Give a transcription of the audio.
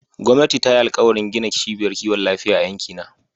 Gwamnati ta yi alkawarin gina ciɓiyar ƙiwon lafiya a yankina.